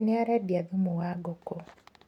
Nĩ arendia thumu wa ngũkũ.